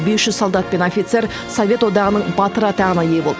бес жүз солдат пен офицер совет одағының батыры атағына ие болды